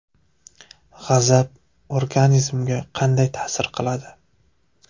G‘azab organizmga qanday ta’sir qiladi?.